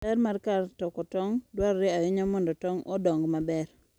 Ler mar kar toko tong' dwarore ahinya mondo tong' odong maber.